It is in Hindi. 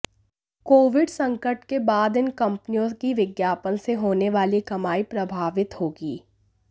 कोविड संकट के बाद इन कंपनियों की विज्ञापन से होने वाली कमाई प्रभावित होगी